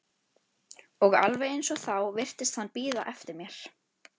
Og alveg eins og þá virtist hann bíða eftir mér.